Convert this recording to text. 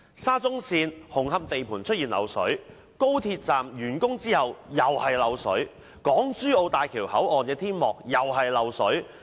沙中線紅磡地盤出現漏水，高鐵站完工後又是漏水，港珠澳大橋香港口岸旅檢大樓的天幕同樣漏水。